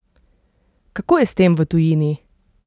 Kako je s tem v tujini?